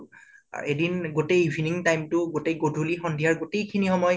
R এদিন গোতেই evening time তো গোতেই গধূলী সন্ধিয়া গোতেই খিনি সময়